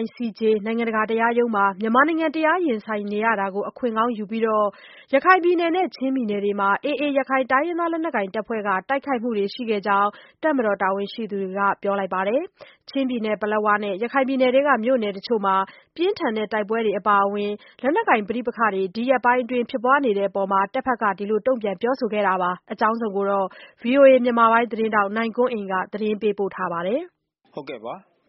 ICJ နိုင်ငံတကာ တရားရုံးမှာ မြန်မာနိုင်ငံတရား ရင်ဆိုင်နေရတာကို အခွင့်ကောင်းယူပြီးတော့ ရခိုင်ပြည်နယ်နဲ့ ချင်းပြည်နယ်တွေမှာ AA တိုင်းရင်းသား လက်နက်ကိုင်တပ်ဖွဲ့က တိုက်ခိုက်မှုတွေ ရှိခဲ့ကြောင်း တပ်မတော်တာဝန်ရှိသူတွေက ပြောလိုက်ပါတယ်။ ချင်းပြည်နယ်ပလက်ဝနဲ့ ရခိုင်ပြည်နယ်ထဲက မြို့နယ်တချို့မှာ ပြင်းထန်တဲ့ တိုက်ပွဲတွေ အပါအဝင် လက်နက်ကိုင် ပဋိပက္ခတွေ ဒီရက်ပိုင်းအတွင်း ဖြစ်ပွားနေတဲ့အပေါ်မှာ တဘက်က ဒီလို တုံ့ပြန်ပြောဆိုခဲ့တာပါ။ အကြောင်းစုံကိုတော့ ဗွီအိုအေမြန်မာပိုင်းသတင်းထောက် နိုင်ကွန်းအိန်ကနေ သတင်းပေးပို့ထားပါတယ်။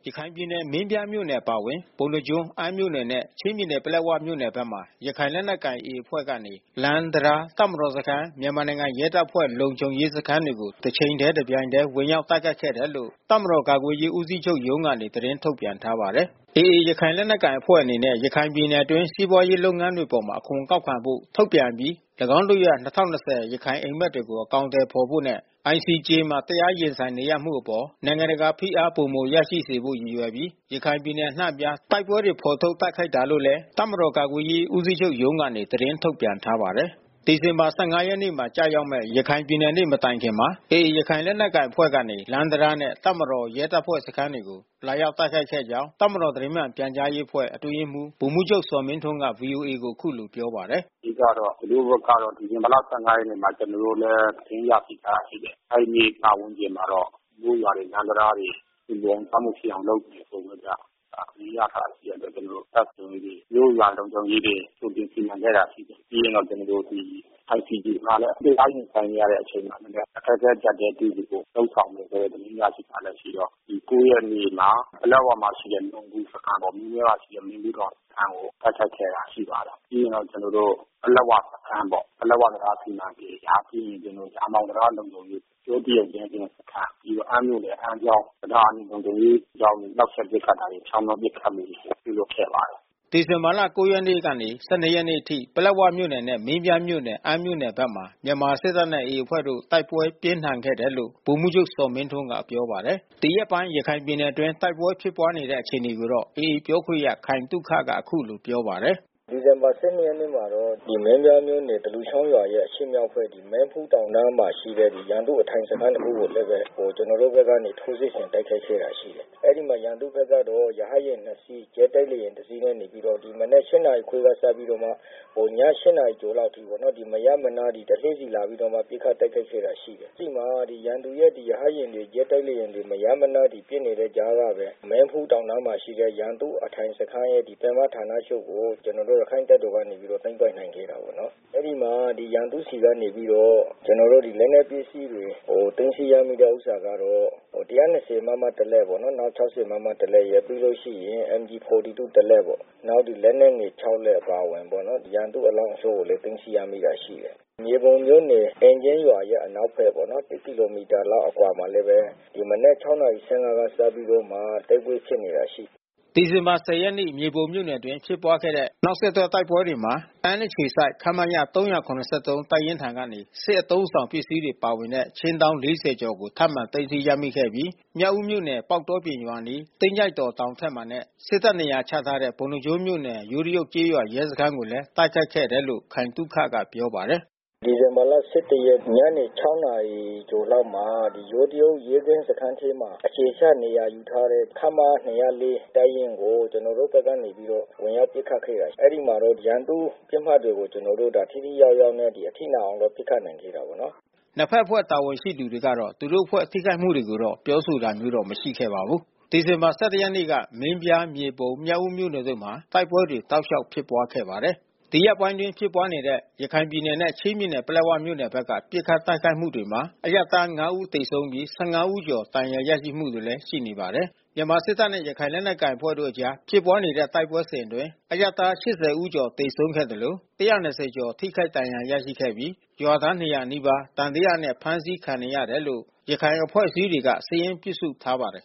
ရခိုင်ပြည်နယ် မင်းပြားမြို့နယ်အပါဝင် ပုဏ္ဏားကျွန်းမြို့နယ်၊ အမ်းမြို့နယ်နဲ့ ချင်းပြည်နယ် ပလက်ဝမြို့နယ်ဘ က်မှာ ရခိုင်လက်နက်ကိုင် AA အဖွဲ့ကနေ လမ်းတံတား၊ တပ်မတော်စခန်း၊ မြန်မာနိုင်ငံရဲတပ်ဖွဲ့ လုံခြုံရေးစခန်းတွေကို တစ်ချိန်တည်း တစ်ပြိုင်တည်း ဝင်ရောက်တိုက်ခိုက်ခဲ့တယ်လို့ တပ်မတော်ကာကွယ်ရေး ဦးစီးချုပ်ရုံးကနေ သတင်းထုတ်ပြန်ထားပါတယ်။ AA ရခိုင်လက်နက်ကိုင်အဖွဲ့အနေနဲ့ ရခိုင်ပြည်နယ်အတွင်း စီးပွားရေး လုပ်ငန်းတွေအပေါ် အခွန်ကောက်ခံဖို့ ထုတ်ပြန် အပြီး ၎င်းတို့ရဲ့ ၂၀၂၀ ရခိုင်အိမ်မက်တွေကို အကောင်အထည် ဖော်ဖို့နဲ့ ICJ မှာ တရားရင်ဆိုင်နေရမှုအပေါ် နိုင်ငံတကာ ဖိအားပိုမိုရရှိစေဖို့ ရည်ရွယ်ပြီး ရခိုင်ပြည်နယ်အနှံ့အပြား တိုက်ပွဲတွေ ဖော်ထုတ် တိုက်ခိုက်တာလို့လည်း တပ်မတော် ကာကွယ်ရေးဦးစီးချုပ်ရုံးကနေ သတင်းထုတ်ပြန်ထားပါတယ်။ ဒီဇင်ဘာလ ၁၅ ရက်နေ့မှာ ကျရောက်မယ့် ရခိုင်ပြည်နယ်နေ့ မတိုင်ခင်မှာ AA ရခိုင်လက်နက်ကိုင်အဖွဲ့ကနေ လမ်းတံတားနဲ့ တပ်မတော် ရဲတပ်ဖွဲ့စခန်းတွေကို လာရောက်တိုက်ခိုက်ခဲ့ကြောင်း တပ်မတော် သတင်းမှန်ပြန်ကြားရေးအဖွဲ့ အတွင်းရေးမှူး ဗိုလ်မှူးချုပ်ဇော်မင်းထွန်းက ဗွီအိုအေကို အခုလိုပြောပါတယ်။ “အဓိကတော့ သူတို့ဘက်ကတော့ ဒီဇင်ဘာလ ၁၅ ရက်မှာ ကျနော်တို့လည်း သတင်းရရှိထားတာ ရှိတယ်။ အဲဒီနေ့ ပတ်ဝန်းကျင်မှာတော့ မြို့ရွာတွေ လမ်းတံတားတွေ စီစဉ်ထားမှုတွေလုပ်နေတဲ့ ပုံပဲဗျ။ အဲတာသတင်းရထားတာ ရှိတဲ့အတွက် ကျနော်တို့တပ်လုံခြုံရေး မြို့ရွာလုံခြုံရေးတွေ ကြိုတင်စီမံခဲ့တာရှိတယ်။ ပြီးရင်တော့ ကျနော်တို့ဒီ ICJ မှာလည်း တရား ရင်ဆိုင်နေတဲ့အချိန်မှာ အခက်ခဲ အကြပ်တည်းတွေ့စေဖို့ လုပ်ဆောင်နေတယ်လို့ သတင်းရရှိတာလည်းရှိတော့ ၉ ရက်နေ့ မှာတော့ ပလက်ဝမှာရှိတဲ့ နုံးဘူးစခန်းပေါ့။ မင်းပြားမှာရှိတဲ့ မင်းဖူးတောင်စခန်းကို တိုက်ခိုက်ခဲ့တာရှိပါတယ်။ ပြီးရင် ပလက်၀ စခန်းပေါ့။ ပလက်၀ တံတားစီမံကိန်း ဒါပြီးရင် ကျနော်တို့ ရာမောင်တံတားလုံခြုံရေး ယိုးတရုတ်ရဲကင်းစခန်း၊ ပြီးရင်အမ်းမြို့ နယ်အမ်းချောင်း၊ ယောချောင်း တံတားလုံခြုံရေးစစ်ကြောင်းတွေ နှောက်ယှက် ပစ်ခတ်မှုတွေချောင်းမြောင်း ပစ်ခတ်မှုတွေ ပြုလုပ်ခဲ့ပါတယ်။” ဒီဇင်ဘာလ ၉ ရက်နေ့ကနေ ၁၂ ရက်နေ့အထိ ပလက်ဝမြို့နယ်နဲ့ မင်းပြားမြို့နယ်၊ အမ်းမြို့နယ်ဘက်မှာ မြန်မာစစ်တပ်နဲ့ AA အဖွဲ့တို့ တိုက်ပွဲပြင်းထန်ခဲ့တယ်လို့ ဗိုလ်မှူးချုပ်ဇော်မင်းထွန်းက ပြောပါတယ်။ ဒီရက်ပိုင်းရခိုင်ပြည်နယ်အတွင်းတိုက်ပွဲဖြစ်ပွါးနေတဲ့အခြေအနေကိုတော့ AAပြောခွင့်ရ ခိုင်သုခ ကအခုလိုပြောပါတယ်။ “ဒီဇင်ဘာလ(၁၁) ရက်နေ့မှာတော့မင်းပြားမြို့နယ်သလူချောင်းရွာရဲ့အရှေ့မြောက်ဖက် မင်းဖူးတောင်တန်းမှာရှိတဲ့ ရန်သူ့အထိုင်စခန်းတခုကိုလဲဘဲ ကျွန်တော်တို့ဘက်ကထိုးစစ်ဆင်တိုက်ခိုက်ခဲ့တာရှိတယ်။ အဲဒီမှာရန်သူဘက်က တော့ ရဟတ်ယာဉ်နှစ်စီး ဂျက်တိုက်လေယာဉ်တစီးနဲ့နေပြီးတော့မနက်(၈)နာရီခွဲကစပြီးတော့မှ ည(၈)နာရီခွဲအထိမရပ်မနား တစင်းစီလာပြီးတော့မှ ပစ်ခတ်တိုက်ခိုက်ခဲ့တာရှိတယ်။ အဲဒီမှာရန်သူရဲ့ရဟတ်ယာဉ်တွေ ဂျက်တိုက်လေယာဉ်တွေ မရပ်မနားပစ်နေတဲ့ကြားကဘဲ မင်းဖူးတောင်တန်းမှာရှိတဲ့ ရန်သူ့အထိုင်စခန်းရော ပင်မဌာနချုပ်ကို ကျွန်တော်တို့ ရခိုင့်တပ်တော်ကနေသိမ်းပိုက်နိုင်ခဲ့တာပေါ့နော်။ အဲဒီမှာရန်သူ့ဆီကနေပြီးတော့ ကျွန်တော်တို့လက်နက်ပစ္စည်းတွေ သိမ်းဆီးရမိတဲ့ဥစ္စာကတော့ (၁၂၀ မမ) တစ်လက်၊ပေါ့နော်။(၆၀)မမတလက်ရယ်။ ပြီးလို့ရှိရင် MG-42တလက်ပေါ့။ နောက်လက်နက်ငယ်(၆)လက်အပါအဝင်ပေါ့။ ရန်သူ့အလောင်းတချို့ကိုလဲသိမ်းဆီးရမိတာရှိတယ်။” ဒီဇင်ဘာလ ၁၀ရက်နေ့၊ မြေပုံမြို့နယ်အတွင်း ဖြစ်ပွားခဲ့တဲ့ နောက်ဆက်တွဲတိုက်ပွဲတွေမှာ အမ်းအခြေစိုက် ခမရ ၃၇၃ တပ်ရင်းထံက စစ်အသုံးအဆောင် ပစ္စည်းပါဝင်တဲ့ ခြင်းတောင်း ၄၀ကျော်ကို ထပ်မံသိမ်းဆည်းရမိခဲ့ပြီး မြောက်ဦးမြို့နယ်၊ ပေါက်တောပြင်ရွာအနီး၊ သင်းကျိုက်တော်တောင်ထက်မှာနဲ့ စစ်တပ်နေရာချထားတဲ့ ပုဏ္ဏားကျွန်းမြို့နယ် ယိုးတရုတ် ကျေးရွာရဲစခန်းကိုလည်း တိုက်ခိုက်ခဲ့တယ်လို့ ခိုင်သုခက ပြောပါတယ်။ “ဒီဇင်ဘာလ ၁၁ ရက် ညနေ ၆ နာရီလောက်မှာ ဒီ ယိုးတရုတ်ရဲစခန်းထဲမှာ အခြေချနေရာ ယူထားတဲ့ ခမရ ၂၀၄ တပ်ရင်းကို ကျနော်တို့ဘက်ကနေပြီးတော့ ဝင်ရောက်ပစ်ခတ်ခဲ့တာရှိတယ်။ အဲ့ဒီမှာ ရန်သူ့ပစ်မှတ်တွေကို ကျနော်တို့ ထိထိရောက်ရောက်နဲ့ အထိနာအောင်တော့ ပစ်ခတ်နိုင်ခဲ့တာပေါ့။” နှစ်ဘက်အဖွဲ့ တာဝန်ရှိသူတွေကတော့ သူတို့အဖွဲ့ထိခိုက်မှုတွေကိုတော့ ပြောဆိုတာမျိုးတော့ မရှိခဲ့ပါဘူး။ ဒီဇင်ဘာလ ၁၁ ရက်နေ့မှာ မင်းပြား၊ မြေပုံ၊ မြောက်ဦးမြို့နယ်တို့မှာ တိုက်ပွဲတွေ တလျှောက်ဖြစ်ပွားခဲ့ပါတယ်။ ဒီရက်ပိုင်းအတွင်းဖြစ်ပွါးတဲ့ ရခိုင်ပြည်နယ်နဲ့ ချင်းပြည်နယ် ပလက်ဝဘက်က ပစ်ခတ်တိုက်ခိုက်မှုတွေမှာ အရပ်သား၅ ဦးသေဆုံးပြီး ၁၅ ဦးကျော် ဒဏ်ရာရရှိမှုတွေလည်း ရှိနေပါတယ်။ မြန်မာစစ်တပ်နဲ့ရခိုင်လက်နက်ကိုင်အဖွဲ့တွေအကြား ဖြစ်ပွားနေတဲ့တိုက်ပွဲစဉ်အတွင်း အရပ်သား ၈၀ ဦးသေဆုံးခဲ့သလို ၁၂၀ ကျော်ထိခိုက်ဒဏ်ရာရရှိခဲ့ပြီး ရွာသား ၂၀၀ နီးပါး သံသယနဲ့ ဖမ်းဆီးခံနေရတယ်လို့ ရခိုင်အဖွဲ့အစည်းတွေက စာရင်းပြုစုထားပါတယ်